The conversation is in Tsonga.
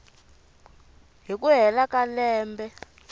hi ku hela ka lembe